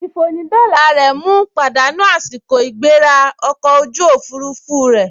Ìfònídọ́la rẹ̀ mu pàdánù àsìkò ìgbéra ọkọ̀ ojú òfurufú rẹ̀